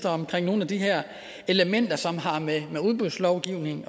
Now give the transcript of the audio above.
omkring nogle af de her elementer som har med udbudslovgivning